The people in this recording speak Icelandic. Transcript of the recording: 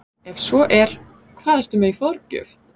Ef svo er, hvað ertu með í forgjöf?